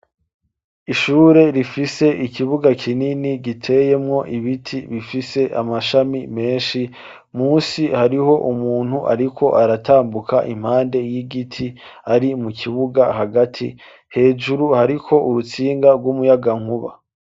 Ishure, rifise ikibuga kinini, giteyemwo ibiti, bifise amashami menshi; munsi, hariho umuntu, ariko aratambuka, impande y'igiti, ari mu kibuga, hagati; hejuru, hariko urutsinga, rw’umuyagankuba.